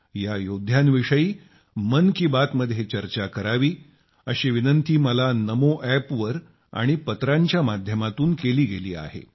या योद्ध्यांविषयी मन की बात मध्ये चर्चा करावी असा आग्रह मला नमोअॅपवर आणि पत्राच्या माध्यमातून केला गेलाय